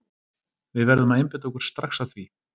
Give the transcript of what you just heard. Við verðum að einbeita okkur strax að því.